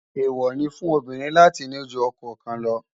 èwo ní fún obìnrin láti ní jù okò kàn ló